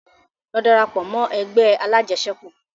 Lọ darapọ̀ mọ́ ẹgbẹ́ alajẹsẹ́kù!